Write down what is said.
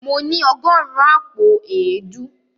Mo ní ọgọ́rùn-ún àpò èédú.